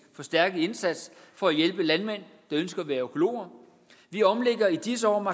forstærkede indsats for at hjælpe landmænd der ønsker at være økologer vi omlægger i disse år